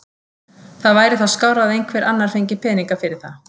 Það væri þá skárra að einhver annar fengi peninga fyrir það.